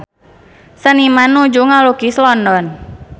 Seniman nuju ngalukis London